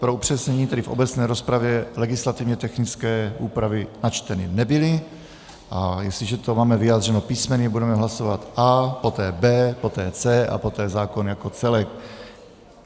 Pro upřesnění, tedy v obecné rozpravě legislativně technické úpravy načteny nebyly, a jestliže to máme vyjádřeno písmeny, budeme hlasovat A, poté B, poté C a poté zákon jako celek.